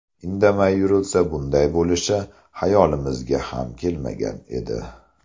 Indamay yurilsa bunday bo‘lishi xayolimizga ham kelmagan edi”.